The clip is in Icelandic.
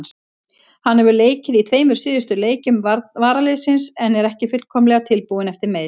Hann hefur leikið í tveimur síðustu leikjum varaliðsins en er ekki fullkomlega tilbúinn eftir meiðsli.